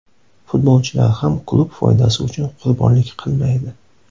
Futbolchilar ham klub foydasi uchun qurbonlik qilmaydi.